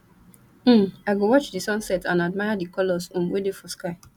um i go watch di sunset and admire di colors um wey dey for sky